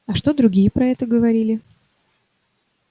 а что другие про это говорили